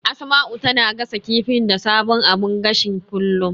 Asma'u tana gasa kifi da sabon abun gashin kullum.